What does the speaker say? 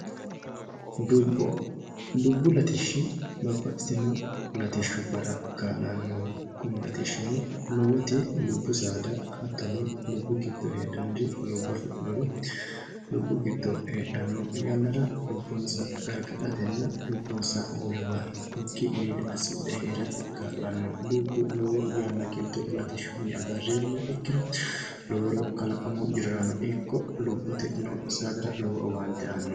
Dubbo, dubbu latishshi babbaxitino latishubbara kaa'lanoho kuni latishino lowoti dubbu saada dubbu giddo heedhanori lubbo affidhinori heedhano yannara lubbonsa garigadhatenna lubbonsa wolewa higgukkinni mine assidhe heerate kaa'lano ,dubbu lowo yanna giddo latishshunni agarreenna lowore kalaqamahono ikki loworira lowo horo aano.